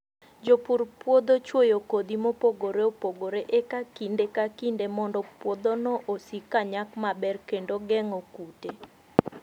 Jopur puodho chwoyo kodhi mopogore opogore e kinde ka kinde mondo puodhono osik ka nyak maber kendo geng'o kute.